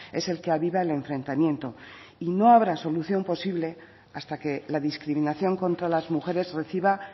es el que aviva el enfrentamiento y no habrá solución posible hasta que la discriminación contra las mujeres reciba